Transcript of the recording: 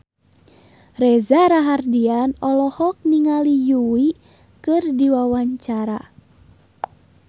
Reza Rahardian olohok ningali Yui keur diwawancara